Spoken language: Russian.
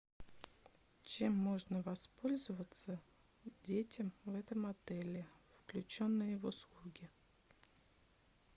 чем можно воспользоваться детям в этом отеле включенные в услуги